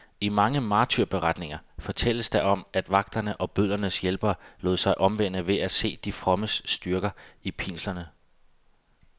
I mange martyrberetninger fortælles der om, at vagterne og bødlernes hjælpere lod sig omvende ved at se de frommes styrke i pinslerne.